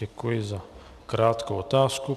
Děkuji za krátkou otázku.